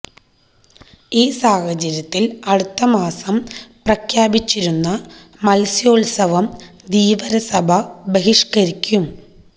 ഈ സാഹചര്യത്തില് അടുത്ത മാസം പ്രഖ്യാപിച്ചിരിക്കുന്ന മത്സ്യോത്സവം ധീവരസഭ ബഹിഷ്ക്കരിക്കും